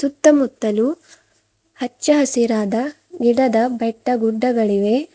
ಸುತ್ತಮುತ್ತಲು ಹಚ್ಚ ಹಸಿರಾದ ಗಿಡದ ಬೆಟ್ಟಗುಡ್ಡಗಳಿವೆ.